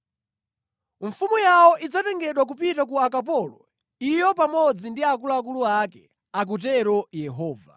Mfumu yawo idzatengedwa kupita ku ukapolo, iyo pamodzi ndi akuluakulu ake,” akutero Yehova.